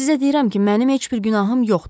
Sizə deyirəm ki, mənim heç bir günahım yoxdur.